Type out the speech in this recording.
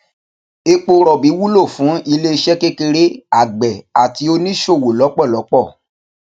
epo ròbì wúlò fún iléeṣé kékeré àgbè àti oníṣòwò lọpọlọpọ